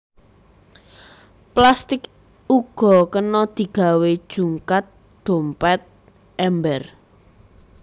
Plastik uga kena digawé jungkat dompét ember